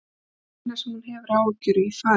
Það er það eina sem hún hefur áhyggjur af í fari hans.